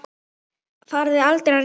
Farið þið aldrei að rífast?